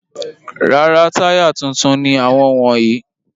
Rárá, táyà tuntun ni àwọn wọ̀nyí.